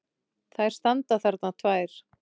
Þær standa þarna tvær!